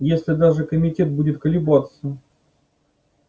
если даже комитет будет колебаться